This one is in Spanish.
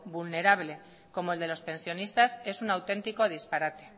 vulnerable como el de los pensionistas es un auténtico disparate